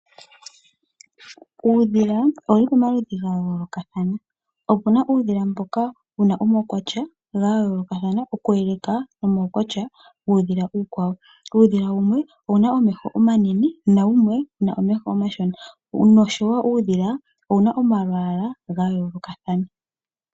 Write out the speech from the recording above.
Uudhila owuli pamaludhi ga yoolokathana, opuna uudhila mboka wuna omaukwatya ga yoolokathana oku eleka nomaukwatya guudhila uukwawo. Uudhila wumwe owuna omeho omanene na wumwe owuna omeho omashona. Noshowo uudhila owuna omalwaala ga yoolokathana.